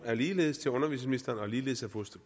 er ligeledes til undervisningsministeren og ligeledes af fru